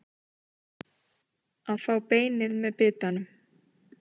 Að fá beinið með bitanum